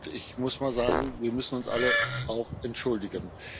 Und ich muss mal sagen, wir müssen uns alle auch entschuldigen.